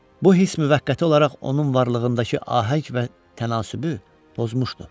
Bu hiss müvəqqəti olaraq onun varlığındakı ahəng və tənasübü pozmuşdu.